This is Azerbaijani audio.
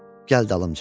Gəl dalımca.